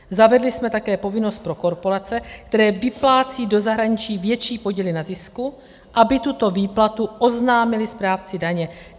Zavedli jsme také povinnost pro korporace, které vyplácí do zahraničí větší podíly na zisku, aby tuto výplatu oznámily správci daně.